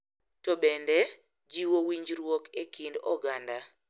To bende, jiwo winjruok e kind oganda,